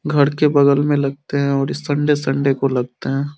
घर के बगल में लगते है और संडे संडे को लगते है।